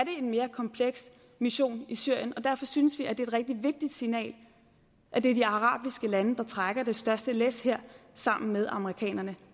en mere kompleks mission i syrien og derfor synes vi det er et rigtig vigtigt signal at det er de arabiske lande der trækker det største læs her sammen med amerikanerne